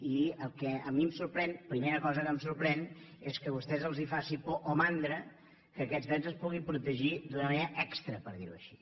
i el que a mi em sorprèn primera cosa que em sorprèn és que a vostès els faci por o mandra que aquests drets es puguin protegir d’una manera extra per dir ho així